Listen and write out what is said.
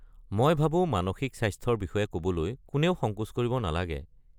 মই ভাবো মানসিক স্বাস্থ্যৰ বিষয়ে ক'বলৈ কোনেও সংকোচ কৰিব নালাগে।